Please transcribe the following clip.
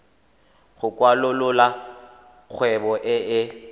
go kwalolola kgwebo e e